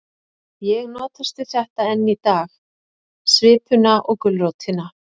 Ég notast við þetta enn í dag, svipuna og gulrótina.